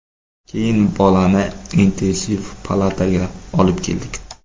Keyin bolani intensiv palataga olib keldik.